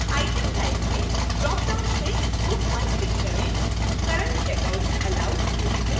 item type में dropdown से book पर click करें